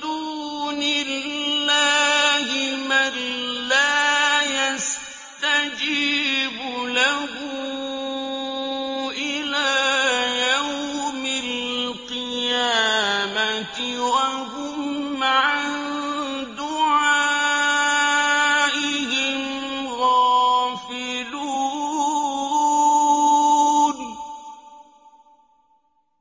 دُونِ اللَّهِ مَن لَّا يَسْتَجِيبُ لَهُ إِلَىٰ يَوْمِ الْقِيَامَةِ وَهُمْ عَن دُعَائِهِمْ غَافِلُونَ